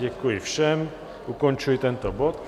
Děkuji všem, ukončuji tento bod.